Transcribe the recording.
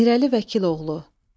Mirəli Vəkiloğlu.